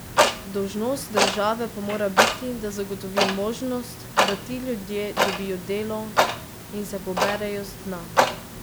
Dolžnost države pa mora biti, da zagotovi možnost, da ti ljudje dobijo delo in se poberejo z dna.